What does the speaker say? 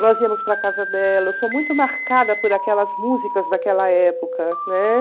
Nós íamos para a casa dela, eu sou muito marcada por aquelas músicas daquela época, né?